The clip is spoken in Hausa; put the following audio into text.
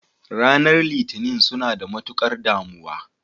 Ranar litinin suna da matukar damuwa.